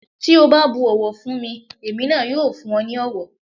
Tí o bá bu ọ̀wọ̀ fún mi, èmi náà yóò fún ọ ní ọ̀wọ̀.